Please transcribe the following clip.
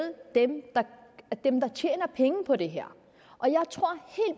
dem der tjener penge på det her